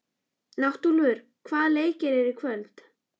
Náttúlfur, hvaða leikir eru í kvöld?